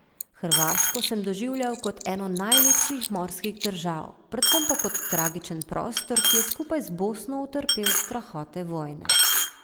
Hrvaško sem doživljal kot eno najlepših morskih držav, predvsem pa kot tragičen prostor, ki je skupaj z Bosno utrpel strahote vojne.